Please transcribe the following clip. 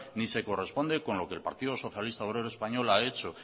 ni se corresponde con lo que el partido socialista obrero español ha hecho